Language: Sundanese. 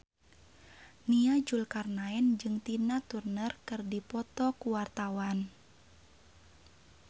Nia Zulkarnaen jeung Tina Turner keur dipoto ku wartawan